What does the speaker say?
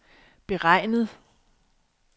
beregnet